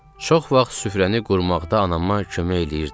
Çox vaxt süfrəni qurmaqda anama kömək eləyirdim.